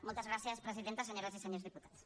moltes gràcies presidenta senyores i senyors diputats